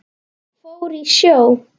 Fór í sjó.